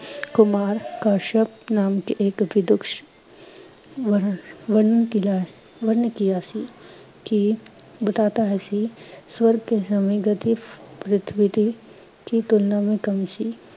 ਕੁਮਾਰ ਕਸ਼ਯਪ ਨਾਮ ਕੇ ਏਕ ਵਿਦੁਸ਼ ਵਰ ਨੇ ਕਿਹਾ ਸੀ, ਕਿ ਬਤਾਤਾ ਹੈ ਸੀ ਸਵਰਗ ਕੇ ਸਮੇਂ ਗਤਿਵ ਗਤਿਵਿਦੀ ਕੀ ਤੁਲਨਾ ਮੇਂ ਕਮੀ ਸੀ।